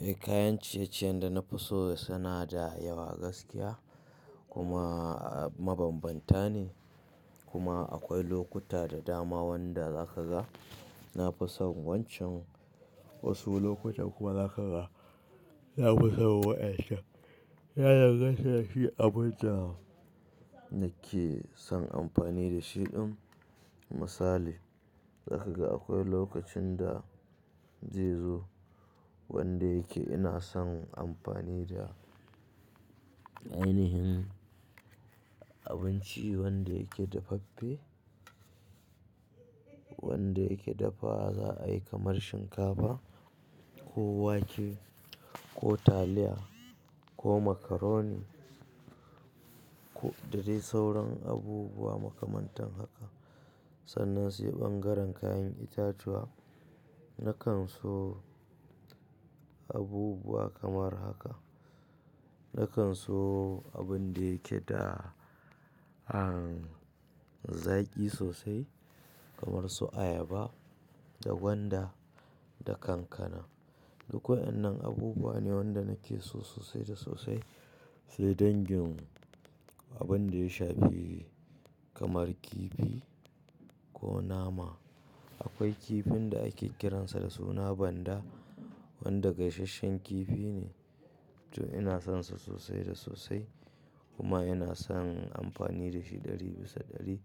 Eh kayan ciye-ciye da na fi so suna da yawa gaskiya kuma mabambanta ne kuma akwai lokuta da dama wanda zaka ga na fi son wancan wasu lokuta kuma zaka ga na fi son waɗannan. Ya danganta da shi abin da nake son amfani da shi ɗin misali zaka ga akwai lokacin da zai zo wanda yake ina son amfani da ainihin abinci wanda yake dafaffe wanda yake dafa za a yi kamar shinkafa ko wake ko taliya ko macaroni ko da dai sauran abubuwa makamantan haka. Sannan sai ɓangaren kayan itatuwa nakan so abubuwa kamar haka. Nakan so abun da yake da an zaki sosai kamar su ayaba da gwanda da kankana. Duk wa'annan abubuwa ne wanda nake so sosai da sosai. Sai dangin abin da ya shafe kamar kifi ko nama. Akwai kifin da ake kiransa da suna banda wanda gaisasshen kifi ne to ina sonsa sosai da sosai kuma ina son amfani da shi ɗari bisa ɗari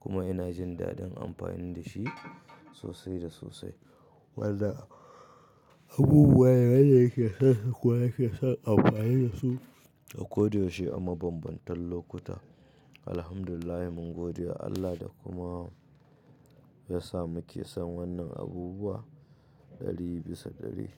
kuma ina jin daɗin amfani da shi sosai da sosai. Waɗannan abubuwa ne waɗanda yake son kuma yake son amfani da su a koyaushe a mabambantan lokuta. Alhamdulillah mun godewa Allah da kuma ya sa muke son wannan abubuwa ɗari bisa ɗari.